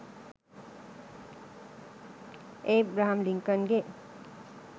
Abraham ලින්කන්ගෙ